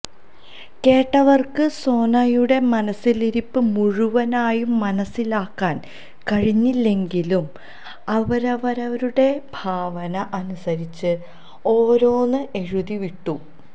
കേട്ടവര്ക്ക് സോനയുടെ മനസ്സിലിരിപ്പ് മുഴുവനായും മനസ്സിലാക്കാന് കഴിഞ്ഞില്ലെങ്കിലും അവരവരുടെ ഭാവന അനുസരിച്ച് ഓരോന്ന് എഴുതി വിട്ടു